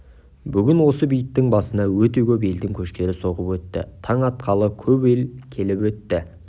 бүгін осы бейіттің басына өте көп елдің көштері соғып өтті таң атқалы көп ел келіп өтті